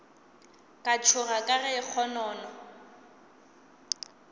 ka tšhoga ka ge kgonono